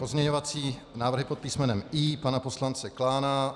Pozměňovací návrhy pod písmenem I pana poslance Klána.